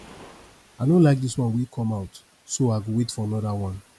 i no like dis one wey come out so i go wait for another one